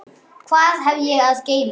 Hvað hef ég að geyma?